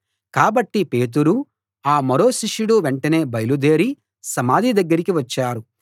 కాబట్టి పేతురూ ఆ మరో శిష్యుడూ వెంటనే బయలుదేరి సమాధి దగ్గరికి వచ్చారు